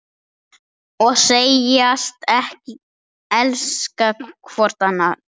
Og segjast elska hvort annað.